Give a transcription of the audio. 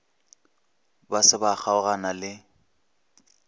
ba se ba kgaogana le